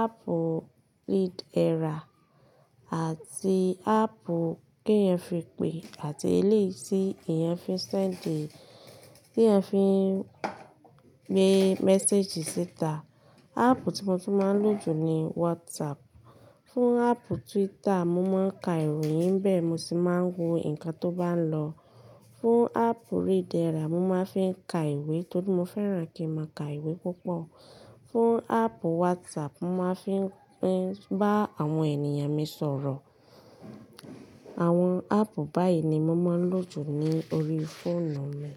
app Readera àti app t'eyan fi pe àti eléyìí tí eeyan fi n send, tí ẹ fi gbé message síta. App tí mo tun máa ń lò jù ni WhatsApp. Fún app Twitter, mo máa ń ka ìròyìn nibe, mo sì máa ń wo ǹkan tó bá ń lọ. Fún app Readera, mo máa fi ka ìwé torí mo fẹ́ràn kí ń máa ka ìwé púpọ̀. Fún app WhatsApp, mo máa fi ń bá àwọn èniyàn mi sọ̀rọ̀. Àwọn app báyìí ni mo máa ń lò jù ní orí fóònù mi.